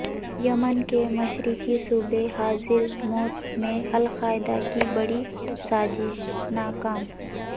یمن کے مشرقی صوبے حضر موت میں القاعدہ کی بڑی سازش ناکام